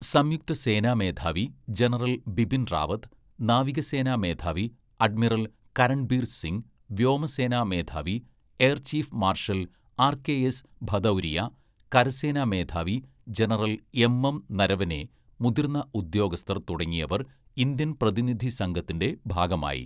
സംയുക്ത സേന മേധാവി ജനറൽ ബിപിൻ റാവത്ത്, നാവികസേന മേധാവി അഡ്മിറൽ കരൺബീർ സിംഗ്, വ്യോമസേന മേധാവി air chief marshal R K S Bhadauria, കരസേന മേധാവി ജനറൽ എം എം നരവനെ, മുതിർന്ന ഉദ്യോഗസ്ഥർ തുടങ്ങിയവർ ഇന്ത്യൻ പ്രതിനിധി സംഘത്തിന്റെ ഭാഗമായി.